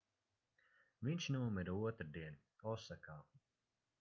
viņš nomira otrdien osakā